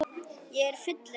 Ég er fullur af þér.